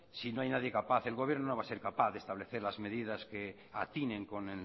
si no hay nadie capaz el gobierno no va a ser capaz de establecer las medidas que atinen con